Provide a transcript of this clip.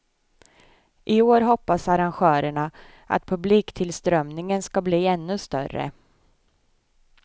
I år hoppas arrangörerna att publiktillströmningen ska bli ännu större.